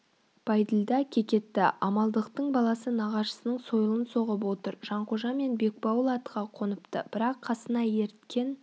бәйділда кекетті амалдықтың баласы нағашысының сойылын соғып отыр жанқожа мен бекбауыл атқа қоныпты бірақ қасына еріткен